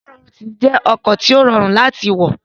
BRT jẹ́ ọkọ̀ tí ó rọrùn láti wọ̀